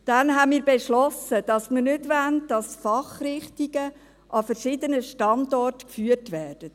Dann beschlossen wir, dass wir nicht wollen, dass die Fachrichtungen an verschiedenen Standorten geführt werden.